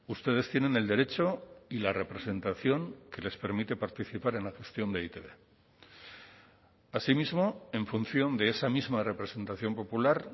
ustedes tienen el derecho y la representación que les permite participar en la gestión de e i te be así mismo en función de esa misma representación popular